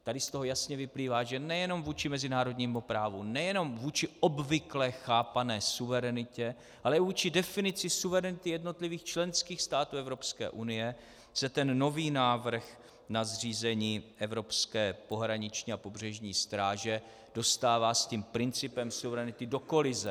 Tady z toho jasně vyplývá, že nejenom vůči mezinárodnímu právu, nejenom vůči obvykle chápané suverenitě, ale i vůči definici suverenity jednotlivých členských států Evropské unie se ten nový návrh na zřízení evropské pohraniční a pobřežní stráže dostává s tím principem suverenity do kolize.